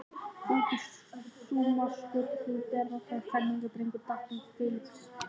Út úr skúmaskoti hljóp berrassaður fermingardrengur, datt um Filippseying og braut í sér framtennurnar.